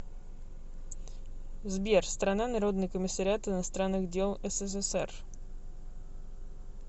сбер страна народный комиссариат иностранных дел ссср